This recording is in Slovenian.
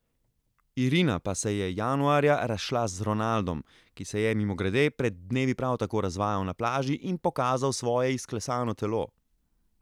Irina pa se je januarja razšla z Ronaldom, ki se je, mimogrede, pred dnevi prav tako razvajal na plaži in pokazal svoje izklesano telo.